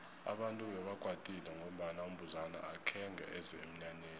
abantu bebakwatile ngombana umbuzana akhenge eze emnyanyeni